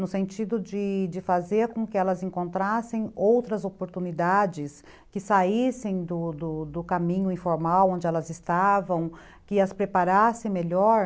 no sentido de de fazer com que elas encontrassem outras oportunidades, que saíssem do caminho informal onde elas estavam, que as preparassem melhor.